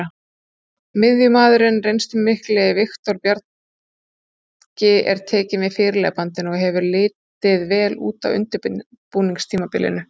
Miðjumaðurinn reynslumikli Viktor Bjarki er tekinn við fyrirliðabandinu og hefur litið vel út á undirbúningstímabilinu.